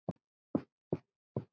Eins og staðan er núna.